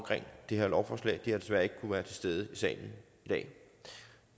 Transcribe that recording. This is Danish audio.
det her lovforslag de har desværre ikke kunnet være til stede i salen i dag